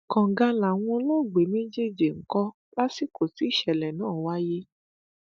kànga làwọn olóògbé méjèèjì ń kọ lásìkò tí ìṣẹlẹ náà wáyé